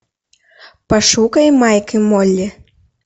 пошукай майк и молли